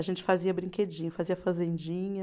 A gente fazia brinquedinho, fazia fazendinha.